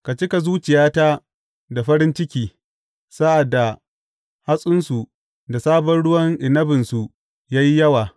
Ka cika zuciyata da farin ciki sa’ad da hatsinsu da sabon ruwan inabinsu ya yi yawa.